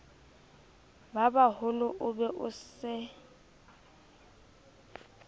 babaholo o be o se